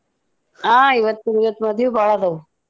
ಆ ಇವತ್ತ್ ಮದಿವಿ ಭಾಳ್ ಅದಾವ್.